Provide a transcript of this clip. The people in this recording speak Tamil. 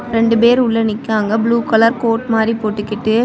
ரெண்டு பேர் உள்ள நிக்காங்க ப்ளூ கலர் கோட் மாறி போட்டுக்கிட்டு.